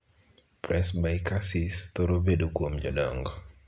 Presbycusis' thoro bet kuom jodongo.